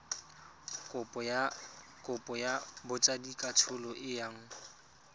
kopo ya botsadikatsholo e yang